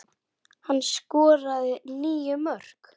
Hann skoraði níu mörk.